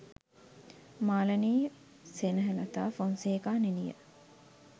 Malani Senehelatha Fonseka නිළිය